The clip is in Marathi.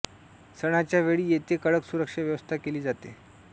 सणांच्या वेळी येथे कडक सुरक्षा व्यवस्था केली जाते